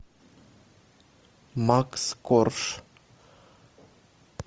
макс корж